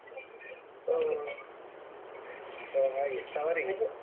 ಹೋ ಹಾ ಹಾಗೆ ತವರಿಗೆ.